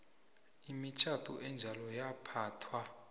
imitjhado enjalo yaphathwa